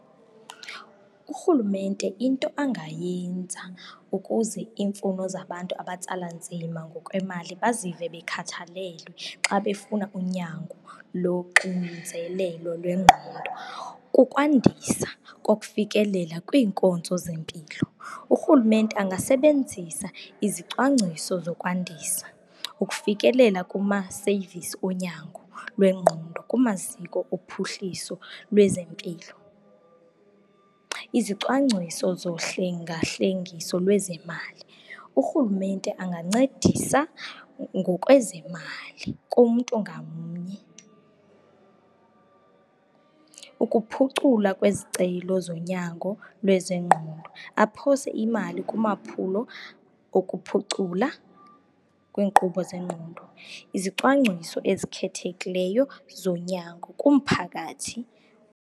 Urhulumente into angayenza ukuze iimfuno zabantu abatsala nzima ngokwemali bazive bekhathalelwe xa befuna unyango loxinzelelo lwengqondo kukwandisa kokufikelela kwiinkonzo zempilo. Urhulumente angasebenzisa izicwangciso zokwandisa ukufikelela kumaseyivisi onyango lwengqondo kumaziko ophuhliso lwezempilo. Izicwangciso zohlengahlengiso lwezemali, urhulumete angancedisa ngokwezemali kumntu ngamnye ukuphucula kwezicelo zonyango lwezengqondo, aphose imali kumaphulo okuphucula kwiinkqubo zengqondo, izicwangciso ezikhethekileyo zonyango kumphakathi.